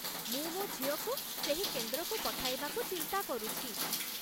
ମୁଁ ମୋ ଝିଅକୁ ସେହି କେନ୍ଦ୍ରକୁ ପଠାଇବାକୁ ଚିନ୍ତା କରୁଛି।